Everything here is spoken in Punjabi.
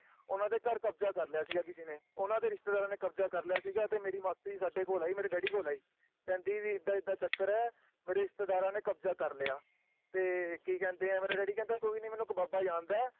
ਓਹਨਾ ਦੇ ਘਰ ਕਬਜ਼ਾ ਕਰ ਲਿਆ ਸੀ ਕਿਸੇ ਨੇ ਓਹਨਾ ਦੇ ਰਿਸ਼ਤੇਦਾਰਾਂ ਨੇ ਕਬਜ਼ਾ ਕਰ ਲਿਆ ਸੀਗਾ ਤੇ ਮੇਰੀ ਮਾਸੀ ਸਾਡੇ ਕੋਲ ਆਈ ਮੇਰੇ Daddy ਕੋਲ ਆਈ ਕਹਿੰਦੀ ਵੀ ਏਦਾਂ ਏਦਾਂ ਚੱਕਰ ਏ ਵੀ ਰਿਸ਼ਤੇਦਾਰਾਂ ਨੇ ਕਬਜਾ ਕੇ ਲਿਆ ਤੇ ਕਿ ਕਹਿੰਦੇ ਆ ਮੇਰਾ Daddy ਕਹਿੰਦਾ ਕੋਈ ਨੀ ਮਤਲਬ ਮੈਂ ਇਕ ਬਾਬਾ ਜਾਂਦਾ ਆ